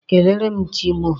Kelere m Chi mụ o.